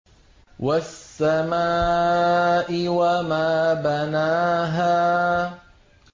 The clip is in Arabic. وَالسَّمَاءِ وَمَا بَنَاهَا